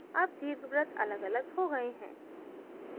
अब दीर्घवृत्त अलग अलग हो गए हैं